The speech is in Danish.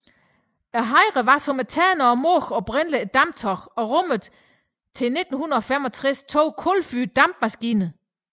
Hejren var som Ternen og Mågen oprindeligt et dampskib og rummede til 1965 to kulfyrede dampmaskiner